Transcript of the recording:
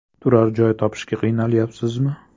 Turar joy topishga qiynalyapsizmi?.